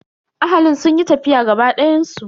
Ahalin sun yi tafiya gaba dayan su.